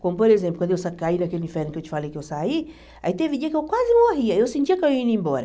Como, por exemplo, quando eu sa caí daquele inferno que eu te falei que eu saí, aí teve dia que eu quase morri, aí eu sentia que eu ia indo embora.